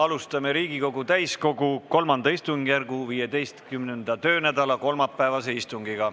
Alustame Riigikogu täiskogu kolmanda istungjärgu 15. töönädala kolmapäevast istungit.